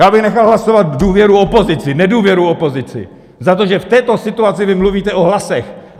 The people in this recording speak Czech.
Já bych nechal hlasovat důvěru opozici, nedůvěru opozici za to, že v této situaci vy mluvíte o hlasech.